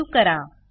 save करा